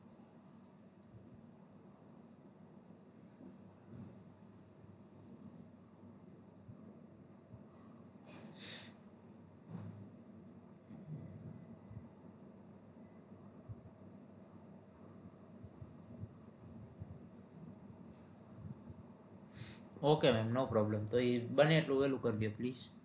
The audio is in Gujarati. okay ma'am no problem તો ઈ બને એટલું વેલું કરજો please